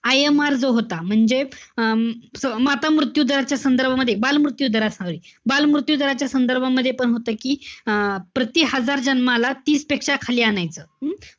IMR जो होता, म्हणजे अं माता मृत्यू दराच्या संदर्भामध्ये, बालमृत्यू दर, बालमृत्यू दराच्या संदर्भामध्ये पण होतं कि अं प्रति हजार जन्माला, तीस पेक्षा खाली आणायचं. हम्म?